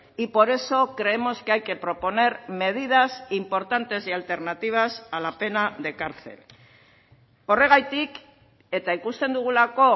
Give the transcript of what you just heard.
y por eso creemos que hay que proponer medidas importantes y alternativas a la pena de cárcel horregatik eta ikusten dugulako